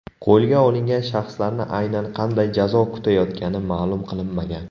Qo‘lga olingan shaxslarni aynan qanday jazo kutayotgani ma’lum qilinmagan.